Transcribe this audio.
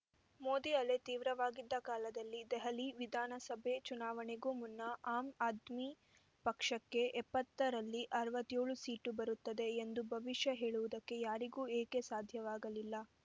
ಮೋದಿ ಅಲೆ ತೀವ್ರವಾಗಿದ್ದ ಕಾಲದಲ್ಲಿ ದೆಹಲಿ ವಿಧಾನಸಭೆ ಚುನಾವಣೆಗೂ ಮುನ್ನ ಆಮ್‌ ಆದ್ಮಿ ಪಕ್ಷಕ್ಕೆ ಎಪ್ಪತ್ತರಲ್ಲಿ ಅರವತ್ತೇಳು ಸೀಟು ಬರುತ್ತದೆ ಎಂದು ಭವಿಷ್ಯ ಹೇಳುವುದಕ್ಕೆ ಯಾರಿಗೂ ಏಕೆ ಸಾಧ್ಯವಾಗಲಿಲ್ಲ